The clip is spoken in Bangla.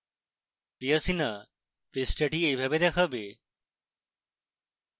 priya sinha পৃষ্ঠাটি এইভাবে দেখবে